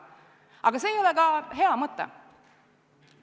Aga see ei ole ka hea mõte.